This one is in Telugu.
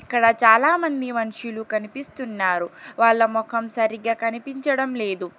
ఇక్కడ చాలామంది మనుషులు కనిపిస్తున్నారు వాళ్ళ మొఖం సరిగ్గా కనిపించడం లేదు.